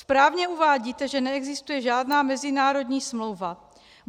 Správně uvádíte, že neexistuje žádná mezinárodní smlouva.